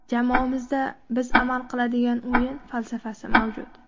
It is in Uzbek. Jamoamizda biz amal qiladigan o‘yin falsafasi mavjud.